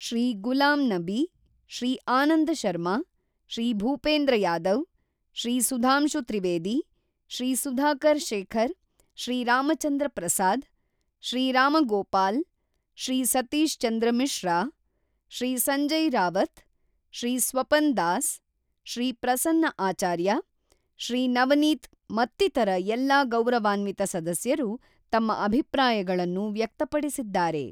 ಶ್ರೀ ಗುಲಾಂ ನಬಿ, ಶ್ರೀ ಆನಂದ ಶರ್ಮಾ, ಶ್ರೀ ಭೂಪೇಂದ್ರ ಯಾದವ್, ಶ್ರೀ ಸುಧಾಂಶು ತ್ರಿವೇದಿ, ಶ್ರೀ ಸುಧಾಕರ್ ಶೇಖರ್, ಶ್ರೀ ರಾಮಚಂದ್ರ ಪ್ರಸಾದ್, ಶ್ರೀ ರಾಮಗೋಪಾಲ್, ಶ್ರೀ ಸತೀಶ್ ಚಂದ್ರ ಮಿಶ್ರಾ, ಶ್ರೀ ಸಂಜಯ್ ರಾವತ್, ಶ್ರೀ ಸ್ವಪನ್ ದಾಸ್, ಶ್ರೀ ಪ್ರಸನ್ನ ಆಚಾರ್ಯ, ಶ್ರೀ ನವನೀತ್ ಮತ್ತಿತರ ಎಲ್ಲ ಗೌರವಾನ್ವಿತ ಸದಸ್ಯರು ತಮ್ಮ ಅಭಿಪ್ರಾಯಗಳನ್ನು ವ್ಯಕ್ತಪಡಿಸಿದ್ದಾರೆ.